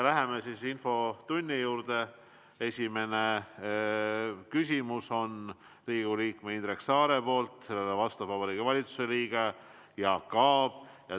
Esimene küsimus on Riigikogu liikmelt Indrek Saarelt ja sellele vastab Vabariigi Valitsuse liige Jaak Aab.